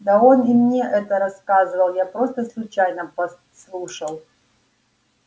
да он и не мне это рассказывал я просто случайно подслушал